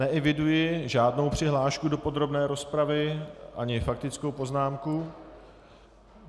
Neeviduji žádnou přihlášku do podrobné rozpravy, ani faktickou poznámku.